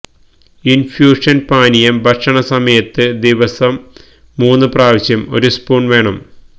infusion പാനീയം ഭക്ഷണ സമയത്ത് ദിവസം മൂന്നു പ്രാവശ്യം ഒരു സ്പൂൺ വേണം